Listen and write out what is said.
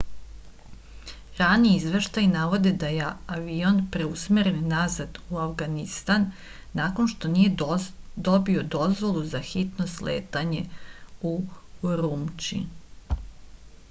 rani izveštaji navode da je avion preusmeren nazad u avganistan nakon što nije dobio dozvolu za hitno sletanje u urumći